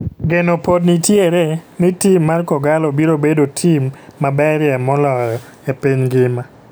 Geno pod nitiere nitim mar Kogallo biro bedo tim maberie maloyo e piny ngima.